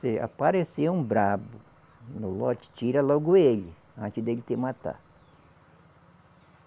Se aparecer um bravo no lote, tira logo ele, antes dele te matar.